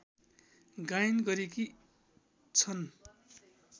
गायन गरेकी छन्